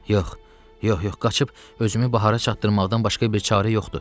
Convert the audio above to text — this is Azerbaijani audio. Yox, yox, yox, qaçıb özümü bahara çatdırmaqdan başqa bir çarə yoxdur.